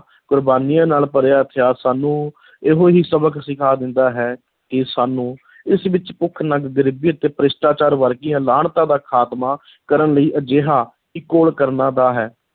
ਕੁਰਬਾਨੀਆਂ ਨਾਲ ਭਰਿਆ ਇਤਿਹਾਸ ਸਾਨੂੰ ਇਹੋ ਹੀ ਸਬਕ ਸਿਖਾ ਦਿੰਦਾ ਹੈ ਕਿ ਸਾਨੂੰ ਇਸ ਵਿੱਚ ਭੁੱਖ-ਨੰਗ ਗਰੀਬੀ ਅਤੇ ਭ੍ਰਿਸ਼ਟਾਚਾਰ ਵਰਗੀਆਂ ਲਾਹਨਤਾਂ ਦਾ ਖ਼ਾਤਮਾ ਕਰਨ ਲਈ ਅਜਿਹਾ ਹੀ ਘੋਲ ਕਰਨਾ ਦਾ ਹੈ,